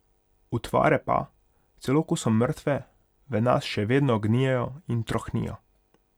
Utvare pa, celo ko so mrtve, v nas še naprej gnijejo in trohnijo.